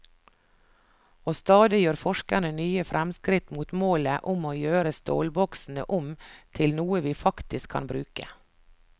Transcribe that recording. Og stadig gjør forskerne nye fremskritt mot målet om å gjøre stålboksene om til noe vi faktisk kan bruke.